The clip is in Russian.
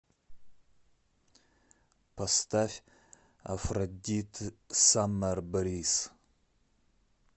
поставь афродит саммер бриз